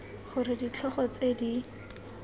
g r ditlhogo tse di